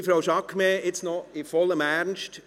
Liebe Frau Jaquemet, jetzt noch in vollem Ernst: